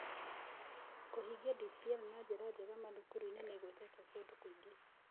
Kũhingia DPL na njĩra njega mathukuru-inĩ nĩ ĩgwetetwo kũndũ kũngĩ.